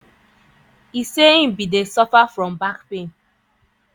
e say im bin dey suffer from back pain.